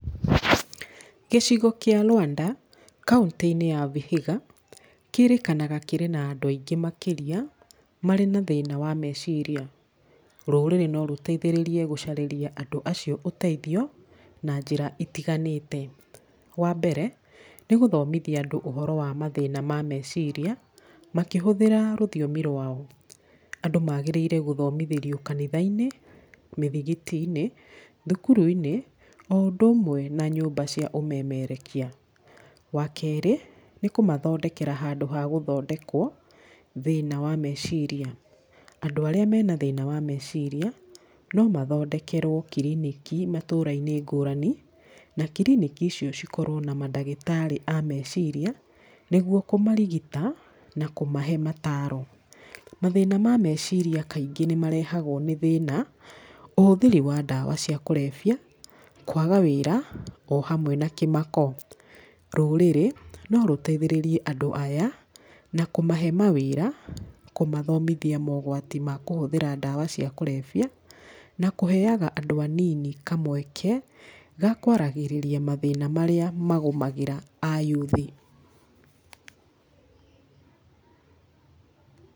Gĩcigo kĩa Luanda kauntĩ-inĩ ya Vihiga, kĩrĩkanaga kĩrĩ na andũ aingĩ makĩria marĩ na thĩna wa meciria. Rũrĩrĩ no rũteithĩrĩrie gũcarĩria andũ acio ũteithio, na njĩra itiganĩte. Wa mbere nĩ gũthomithia andũ ũhoro wa mathĩna ma meciria, makĩhũthĩra rũthiomi rwao, andũ magĩrĩire gũthomithĩrio kanitha-inĩ, mĩthigiti-inĩ, thukuru-inĩ, o ũndũ ũmwe na nyũmba cia ũmemerekia, wa kerĩ nĩ kũmathondekera handũ ha gũthondekwo thĩna wa meciria, andũ arĩa mena thĩna wa meciria no mathondekerwo kiriniki matũra-inĩ ngũrani, na kiriniki icio cikorwo na madagĩtarĩ a meciria, nĩguo kũmarigita, na kũmahe mataro, mathĩna mameciria kaingĩ nĩ marehagwo nĩ thĩna, ũhũthĩri wa ndawa cia kũrebia, kwaga wĩra, o hamwe na kĩmako. Rũrĩrĩ no rũteithĩrĩrie andũ aya, na kũmahe mawĩra, kũmathomithia mogwati ma kũhũthĩra ndawa cia kũrebia, na kũheyaga andũ anini kamweke, gakwaragĩrĩria mathĩna marĩa magũmagĩra ayuthi.